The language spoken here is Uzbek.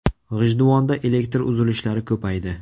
G‘ijduvonda elektr uzilishlari ko‘paydi.